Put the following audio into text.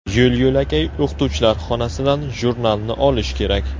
Yo‘l-yo‘lakay o‘qituvchilar xonasidan jurnalni olish kerak.